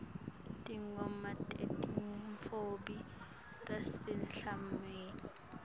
tingoma tetintfombi tasemhlangeni